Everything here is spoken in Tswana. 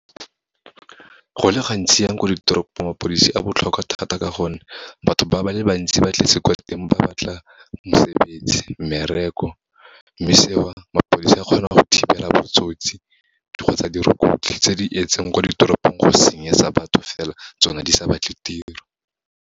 Go le gantsi jang ko ditoropong, mapodisi a botlhokwa thata ka gonne, batho ba le bantsi ba tletse kwa teng, ba batla mesebetsi, mmereko. Mme seo, mapodisa a kgona go thibela botsotsi, kgotsa dirukutlhi tse di etseng kwa ditoropong go senyetsa batho fela, tsona di sa batle tiro.